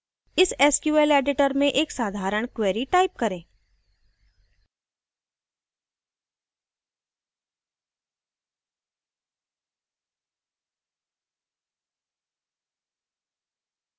इस sql editor में एक साधारण query type करें